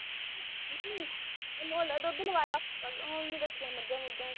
ਨਹੀਂ ਮੁੱਲ ਦੁੱਧ ਲਵਾਇਆ ਐ ਹੁਣ ਨੀ ਰੱਖੀਆਂ ਮਜਾ ਮੁਜਾ ਅਸੀਂ